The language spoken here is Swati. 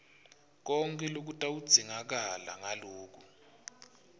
konkhe lokutawudzingakala nguloku